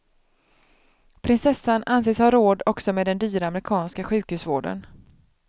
Prinsessan anses ha råd också med den dyra amerikanska sjukhusvården.